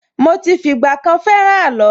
Mo ti fìgbà kan fẹ́ràn àló.